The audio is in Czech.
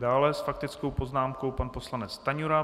Dále s faktickou poznámkou pan poslanec Stanjura.